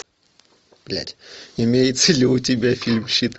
блядь имеется ли у тебя фильм щит